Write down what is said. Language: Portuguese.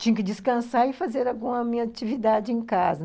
Tinha que descansar e fazer alguma minha atividade em casa.